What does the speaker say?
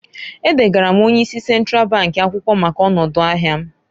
E degara m onye isi Sentral bank akwụkwọ maka ọnọdụ ahịa m.